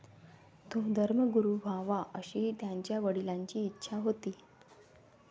तो धर्मगुरू व्हावा अशी त्याच्या वडिलांची इच्छा होती.